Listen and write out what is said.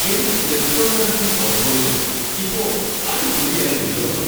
എന്റെ cryptocurrency portfolio ഇപ്പോ അടിപൊളിയായി ഉയർന്ന് വന്നു.